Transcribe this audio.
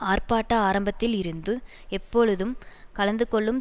ஆர்ப்பாட்ட ஆரம்பத்தில் இருந்து எப்பொழுதும் கலந்துகொள்ளும்